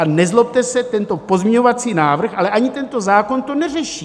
A nezlobte se, tento pozměňovací návrh, ale ani tento zákon to neřeší.